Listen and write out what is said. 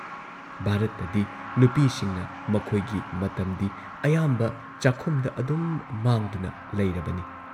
ꯚꯥꯔꯠꯇꯗꯤ ꯅꯨꯄꯤꯁꯤꯡꯅ ꯃꯈꯣꯏꯒꯤ ꯃꯇꯝꯗꯤ ꯑꯌꯥꯝꯕ ꯆꯥꯛꯈꯨꯝꯗ ꯑꯗꯨꯝ ꯃꯥꯡꯗꯨꯅ ꯂꯩꯔꯕꯅꯤ ꯫